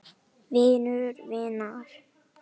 Vinur vinar?